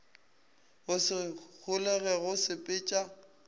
go se holege go sepetša